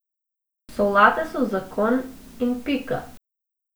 Solate so zakon in pika.